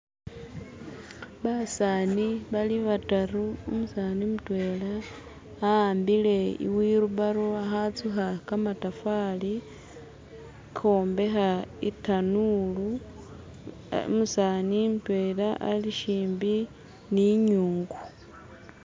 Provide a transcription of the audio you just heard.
Basani bali bataru, umusani mutwela aambile iwheel barrow akhatsukha kamatafali ukhwombekha itanulu. Umusani mutwelwa alishimbi ni inyungu.